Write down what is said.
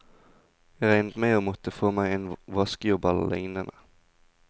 Jeg regnet med å måtte få meg en vaskejobb eller lignende.